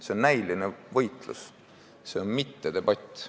See on näiline võitlus, see on mittedebatt.